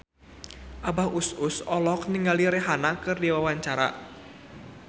Abah Us Us olohok ningali Rihanna keur diwawancara